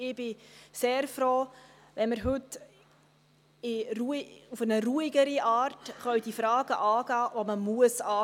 Ich bin sehr froh, wenn wir die Fragen, die man angehen muss, heute auf eine ruhigere Art angehen können.